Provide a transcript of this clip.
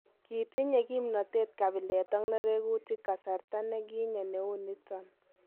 Gintinyee kimnotet kabilet ak nereguutik kasarta ne ginye neu niton.